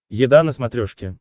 еда на смотрешке